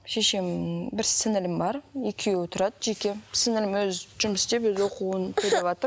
шешем бір сіңілім бар екеуі тұрады жеке сіңілім өзі жұмыс істеп өзі оқуын төлеватыр